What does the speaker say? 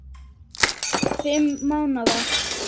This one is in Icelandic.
Fimm mánaða